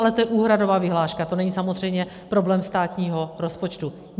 Ale to je úhradová vyhláška, to není samozřejmě problém státního rozpočtu.